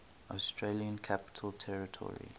australian capital territory